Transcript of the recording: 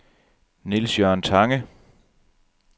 Niels-Jørgen Tange